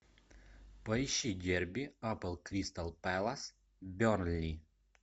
поищи дерби апл кристал пэлас бернли